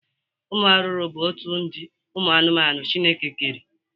Ụmụ arụrụ bụ otu ụdị ụmụ anụmanụ Chineke kere.